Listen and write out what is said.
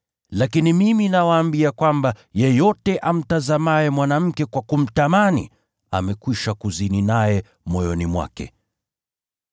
Lakini mimi nawaambia kwamba, yeyote amtazamaye mwanamke kwa kumtamani, amekwisha kuzini naye moyoni mwake.